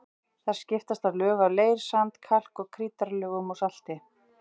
Þar skiptast á lög af leir-, sand-, kalk- og krítarlögum og salti.